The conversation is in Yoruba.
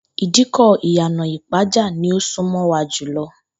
Ìdíkò̩ Ìyànà-ìpájà ni ó sún mo̩ wa jù lo̩